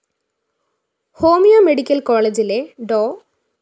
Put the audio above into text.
homeo medical കോളേജിലെ ഡോ